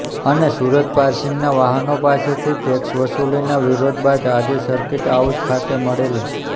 અને સુરત પાર્સિંગના વાહનો પાસેથી ટેક્સ વસુલીના વિરોધ બાદ આજે સર્કિટ હાઉસ ખાતે મળેલી